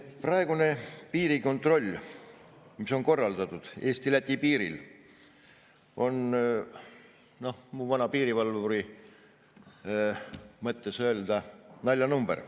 Praegune piirikontroll, mis on korraldatud Eesti-Läti piiril, on minu, vana piirivalvuri naljanumber.